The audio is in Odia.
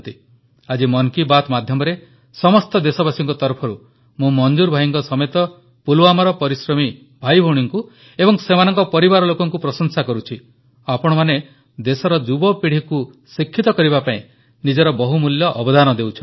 ଆଜି ମନ କୀ ବାତ୍ ମାଧ୍ୟମରେ ସମସ୍ତ ଦେଶବାସୀଙ୍କ ତରଫରୁ ମୁଁ ମଂଜୁର ଭାଇଙ୍କ ସମେତ ପୁଲୱାମାର ପରିଶ୍ରମୀ ଭାଇଭଉଣୀଙ୍କୁ ଏବଂ ସେମାନଙ୍କ ପରିବାର ଲୋକଙ୍କୁ ପ୍ରଶଂସା କରୁଛି ଆପଣମାନେ ଦେଶର ଯୁବପିଢ଼ିକୁ ଶିକ୍ଷିତ କରିବା ପାଇଁ ନିଜର ବହୁମୂଲ୍ୟ ଅବଦାନ ଦେଉଛନ୍ତି